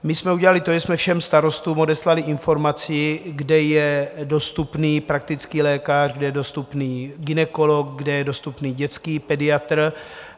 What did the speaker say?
My jsme udělali to, že jsme všem starostům odeslali informaci, kde je dostupný praktický lékař, kde je dostupný gynekolog, kde je dostupný dětský pediatr.